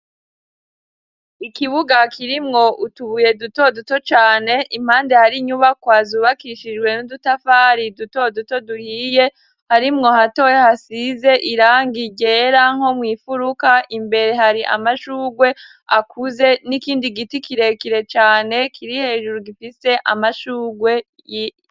Ikibuga kirimwo utubuye duto duto cane, impande hari inyubakwa zubakishijwe n'udutafari duto duto duhiye, harimwo hatoye hasize irangi ryera nko mw'imfuruka. Imbere hari amashugwe akuze n'ikindi giti kirekire cane kiri hejuru gifise amashugwe.